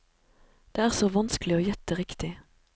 Det er så vanskelig å gjette riktig.